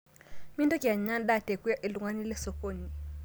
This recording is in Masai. Mintoki anyaa ndaa tekwe ltung'ana lesokoni